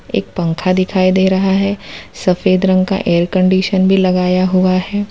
एक पंखा दिखाई दे रहा है सफेद रंग का एयर कंडीशन भी लगाया हुआ है।